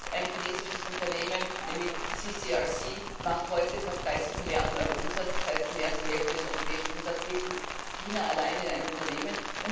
Ein chinesisches Unternehmen, nämlich CRCC, macht heute fast 30 Milliarden Euro Umsatz, das heißt, mehr als die Hälfte des europäischen Umsatzes geht in China alleine in ein Unternehmen.